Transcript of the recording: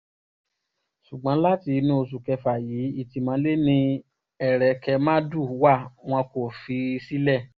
ṣùgbọ́n láti inú oṣù kéfà yìí ìtìmọ́lé ni ẹ̀kẹ̀rẹ̀màdù wá wọn kò fi í sílẹ̀